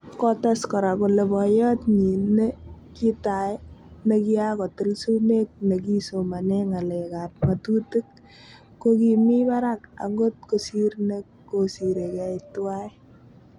Kotes kora kole poyot nyin ne kitai ne kiako til sumek ne kisomane ngalek ap ngatutik ko kimi parak angot kosir ne kosire kei twai.